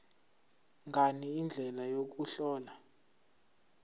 ngani indlela yokuhlola